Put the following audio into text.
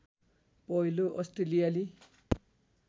पहिलो अस्ट्रेलियाली